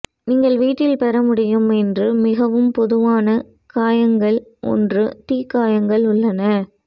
நீங்கள் வீட்டில் பெற முடியும் என்று மிகவும் பொதுவான காயங்கள் ஒன்று தீக்காயங்கள் உள்ளன